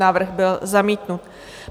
Návrh byl zamítnut.